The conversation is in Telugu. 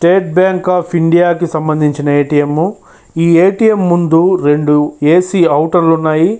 స్టేట్ బ్యాంకు అఫ్ ఇండియా కి సంబంచిన ఏ_టి_ఎం ఈ ఏ_టి_ఎం ముందు రెండు ఏ_సి ఔటర్ లున్నాయి.